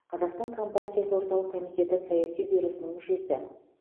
қазақстан компартиясы орталық комитеті саяси бюросының мүшесі